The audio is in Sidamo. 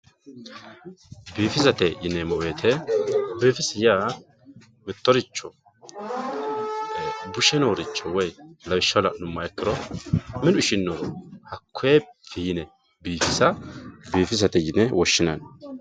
biifisate yineemmo wote biifisi yaa mittoricho bushe nooricho woyi lawishshaho la'nummoha ikkiro minu ishinnoro hakkonne fiine biifisa biifisate yine woshshinanni.